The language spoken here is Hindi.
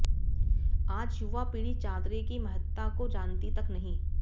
आज युवा पीढ़ी चादरे की महत्ता को जानती तक नहीं